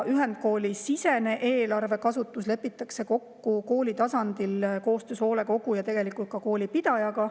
Ühendkoolisisene eelarve kasutus lepitakse kokku kooli tasandil koostöös hoolekogu ja ka koolipidajaga.